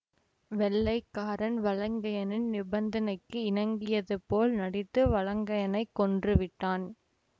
வெள்ளைக்காரன் வலங்கையனின் நிபந்தனைக்கு இணங்கியதுபோல் நடித்து வலங்கையனைக் கொன்றுவிட்டான்